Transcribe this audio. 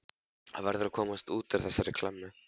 Hann verður að komast út úr þessari klemmu.